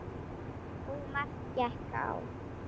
Og margt gekk á.